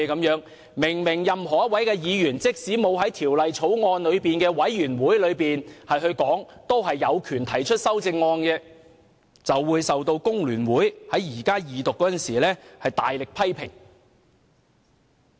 事實上，任何一位議員即使沒有在法案委員會提出修正案，也有權提出修正案，但張超雄議員卻被工聯會議員在二讀辯論中大力批評。